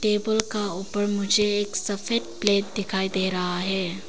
Table का ऊपर मुझे एक सफेद प्लेट दिखाई दे रहा है।